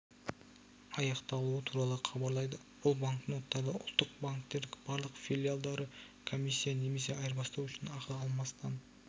аяқталуы туралы хабарлайды бұл банкноттарды ұлттық банктің барлық филиалдары комиссия немесе айырбастау үшін ақы алмастан